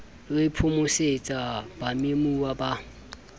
le ho phomosetsa bamemuwa ba